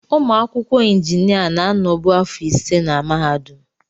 Ụmụ akwụkwọ injinia na-anọbu afọ ise na mahadum.